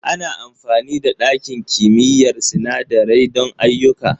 Ana amfani da ɗakin kimiyyar sinandarai don ayyuka.